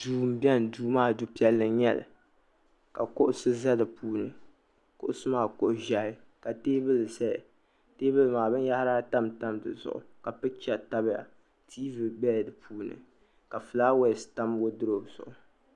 duu m-beni duu maa du'piɛll n-nyɛ li kuɣisi ʒe di puuni kuɣisi maa kuɣ'ʒiɛhi ka teebuli binyɛhuri ata n-tam di zuɣu ka pikicha tabiya tiivi bela di puuni ka flaawaasi tam wɔdurɔɔpu zuɣu